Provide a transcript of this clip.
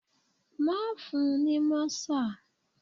Má fun ní mọ́sà.